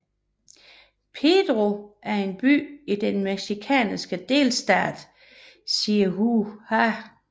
Pedro Meoqui er en by i den mexikanske delstat Chihuahua